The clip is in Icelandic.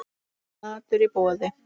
Matur í boði.